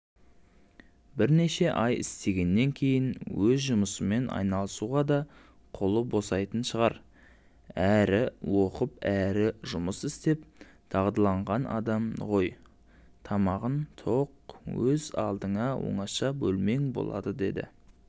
бірнеше ай істегеннен кейін өз жұмысымен айналысуға да қолы босайтын шығар әрі оқып әрі жұмыс істеп дағдыланған адам ғойтамағың тоқ өз алдыңа оңаша бөлмең болады деді